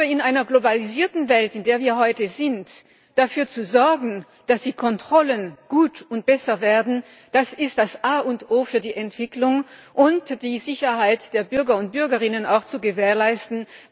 In einer globalisierten Welt, in der wir heute sind, dafür zu sorgen, dass die Kontrollen gut und besser werden, das ist das A und O für die Entwicklung, und es geht darum, die Sicherheit der Bürger und Bürgerinnen zu gewährleisten.